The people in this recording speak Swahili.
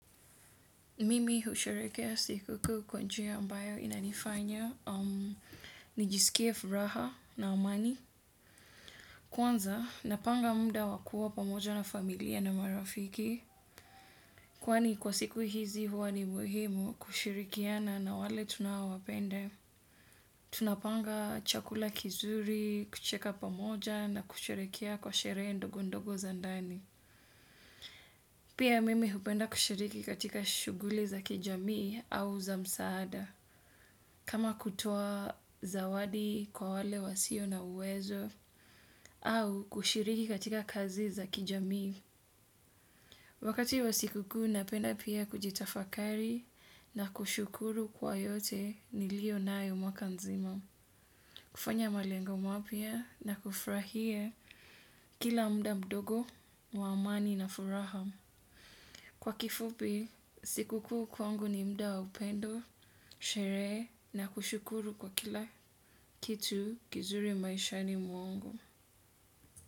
Mimi husherekea sikukuu kwa njia ambayo inanifanya, nijisikie furaha na amani. Kwanza, napanga muda wa kuwa pamoja na familia na marafiki. Kwani kwa siku hizi huwa ni muhimu kushirikiana na wale tunaowapenda. Tunapanga chakula kizuri, kucheka pamoja na kushirikiana kwa sherehe ndogo ndogo za ndani. Pia mimi hupenda kushiriki katika shughuli za kijamii au za msaada. Kama kutoa zawadi kwa wale wasio na uwezo. Au kushiriki katika kazi za kijamii. Wakati wa sikukuu napenda pia kujitafakari, na kushukuru kwa yote nilivyo nayo mwaka mzima. Kufanya malengo mapya na kufurahia kila muda mdogo wa amani na furaha. Kwa kifupi, sikukuu kwangu ni muda wa upendo, sherehe na kushukuru kwa kila kitu kizuri maishani mwangu.